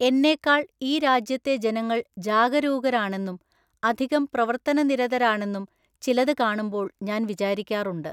എന്നേക്കാള്‍ ഈ രാജ്യത്തെ ജനങ്ങള്‍ ജാഗരൂകരാണെന്നും അധികം പ്രവര്‍ത്തനനിരതരാണെന്നും ചിലതു കാണുമ്പോള്‍ ഞാന്‍ വിചാരിക്കാറുണ്ട്.